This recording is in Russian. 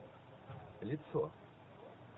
лицо